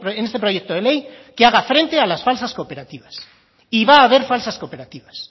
en este proyecto de ley que haga frente a las falsas cooperativas y va a haber falsas cooperativas